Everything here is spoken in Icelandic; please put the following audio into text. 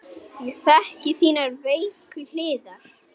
Ég þekki þínar veiku hliðar.